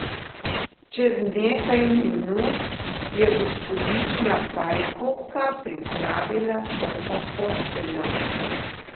Čez nekaj minut je gospodična Pajkovka pripravila prvo posteljo.